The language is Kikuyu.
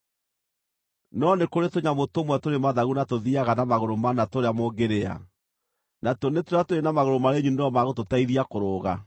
No nĩ kũrĩ tũnyamũ tũmwe tũrĩ mathagu na tũthiiaga na magũrũ mana tũrĩa mũngĩrĩa; natuo nĩ tũrĩa tũrĩ na magũrũ marĩ nyunĩro ma gũtũteithia kũrũga.